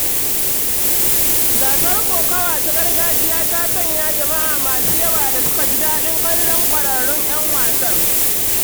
Gasar kokowa ta gargajiya ta sanya jama’a masu yawa da suka ji daɗin kallon kwararrun ‘yan wasan.